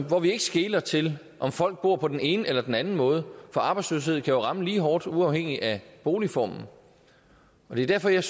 hvor vi ikke skeler til om folk bor på den ene eller den anden måde for arbejdsløshed kan jo ramme lige hårdt uafhængigt af boligformen det er derfor jeg